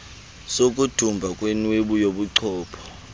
sokudumba kwenwebu yobuchopho